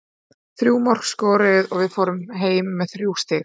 Þrjú mörk skoruð og við förum heim með þrjú stig.